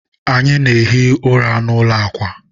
anyị na-ehi ụra n'ụlọ akwa.